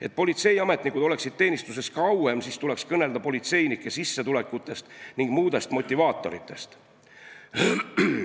Et politseiametnikud oleksid teenistuses kauem, tuleks kõnelda politseinike sissetulekutest ja muudest motivaatoritest.